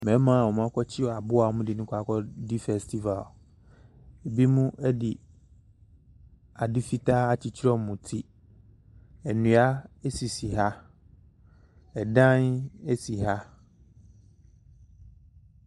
Mmarima bi akɔkyere aboa di kɔdi afahyɛ ebinom de ade fitaa akykyere wɔn ti nnua sisi ha ɔdan si ha.